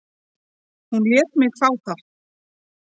Hún lét mig fá það.